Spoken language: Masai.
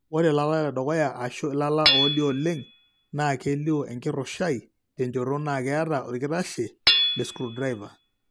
Ore ilala ledukuya, ashu ilala oolioo oleng, naa kedoyio enkirushai tenchoto naa keeta orkitashe lescrewdriver.